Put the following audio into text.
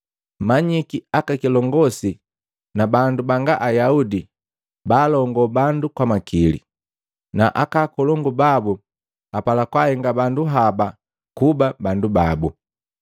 Ndi Yesu jwaakema, nakaapwagi, “Mmanyiki aka kilongosi na bandu banga Ayaudi baalongo bandu kwa makili, na aka akolongu babu apala kwahenga bandu haba kuba bandu babu.